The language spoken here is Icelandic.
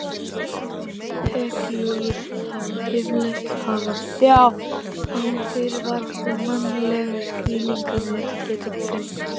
Heklugos hafa yfirleitt hafist án fyrirvara sem mannleg skilningarvit geta greint.